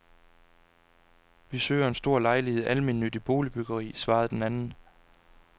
Vi søger en stor lejlighed i almennyttigt boligbyggeri, svarede den anden.